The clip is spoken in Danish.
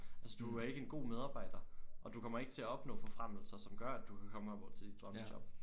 Altså du er ikke en god medarbejder og du kommer ikke til at opnå forfremmelser som gør at du kan op og til dit drømmejob